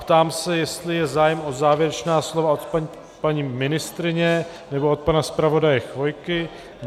Ptám se, jestli je zájem o závěrečná slova od paní ministryně nebo od pana zpravodaje Chvojky.